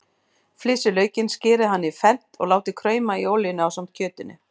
Flysjið laukinn, skerið hann í fernt og látið krauma í olíunni ásamt kjötinu.